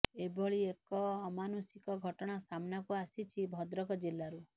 ଏଭଳି ଏକ ଅମାନୁଷିକ ଘଟଣା ସାମ୍ନାକୁ ଆସିଛି ଭଦ୍ରକ ଜିଲ୍ଲାରୁ